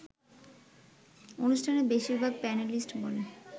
অনুষ্ঠানের বেশিরভাগ প্যানেলিস্ট বলেন